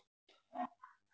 En heldur ekkert meira.